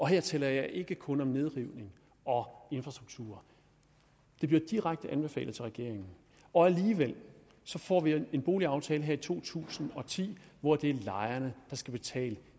her taler jeg ikke kun om nedrivning og infrastruktur det blev direkte anbefalet til regeringen og alligevel får vi en boligaftale her i to tusind og ti hvor det er lejerne der skal betale